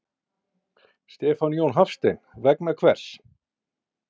Stefán Jón Hafstein: Vegna hvers?